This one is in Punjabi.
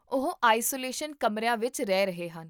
ਉਹ ਆਈਸੋਲੇਸ਼ਨ ਕਮਰਿਆਂ ਵਿੱਚ ਰਹਿ ਰਹੇ ਹਨ